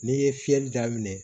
N'i ye fiyɛli daminɛ